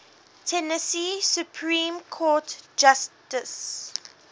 tennessee supreme court justices